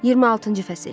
26-cı fəsil.